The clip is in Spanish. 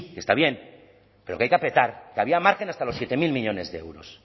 que está bien pero que hay que apretar que había margen hasta los siete mil millónes de euros